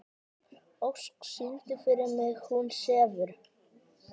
Ósk, syngdu fyrir mig „Hún sefur“.